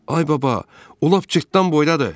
Ay baba, o lap cırtdan boydadır.